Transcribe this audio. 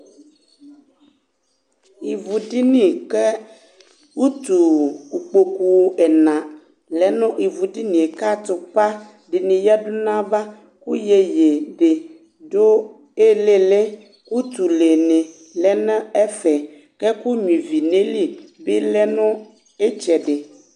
Ɩʋu diyni ƙɛ nutu ikpokpu ɛna lɛ iʋu dini ka atupa dini yadunu ava Ku yéyé di du ɩlɩlɩUtununi lɛnɛ ɛfɛ Kɛ ɛku nyua ivi nɛli bi lɛnu itsɛdi